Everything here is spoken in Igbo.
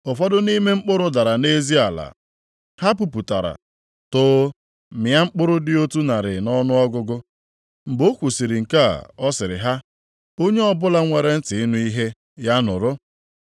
Ụfọdụ nʼime mkpụrụ dara nʼezi ala. Ha puputara, too, mịa mkpụrụ dị otu narị nʼọnụọgụgụ.” Mgbe o kwusiri nke a, ọ sịrị ha, “Onye ọbụla nwere ntị ịnụ ihe, ya nụrụ.”